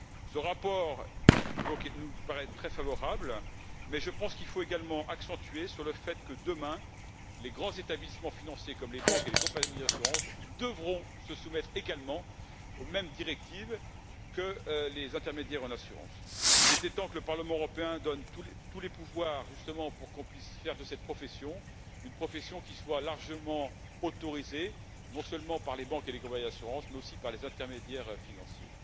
Ce rapport nous paraît très favorable, mais je pense qu'il faut également mettre l'accent sur le fait que, demain, les grands établissements financiers comme les banques et les compagnies d'assurance devront se soumettre également aux mêmes directives que les intermédiaires en assurance. Il était temps que le Parlement européen donne justement tous les pouvoirs pour qu'on puisse faire en sorte que cette profession soit largement autorisée, non seulement par les banques et les compagnies d'assurance, mais aussi par les intermédiaires financiers.